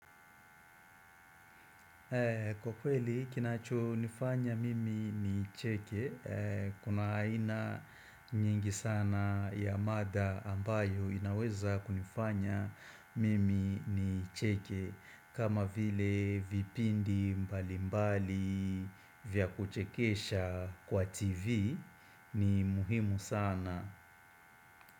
Kwa kweli kinacho nifanya mimi ni cheke, kuna aina nyingi sana ya mada ambayo inaweza kunifanya mimi ni cheke, kama vile vipindi mbali mbali vya kuchekesha kwa TV ni muhimu sana.